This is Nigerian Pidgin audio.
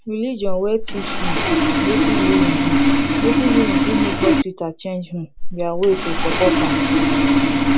religion wey teach um native healing um native healing fit make hospital change um their way to support am